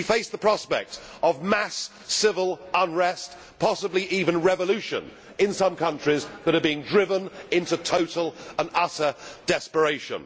We face the prospect of mass civil unrest, possibly even revolution, in some countries that are being driven into total and utter desperation.